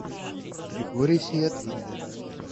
григорий сиятвинда